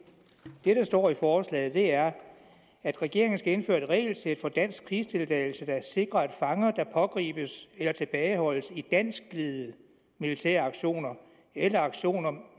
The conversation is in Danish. det der står i forslaget er at regeringen skal indføre et regelsæt for dansk krigsdeltagelse der sikrer at fanger der pågribes eller tilbageholdes i danskledede militære aktioner eller aktioner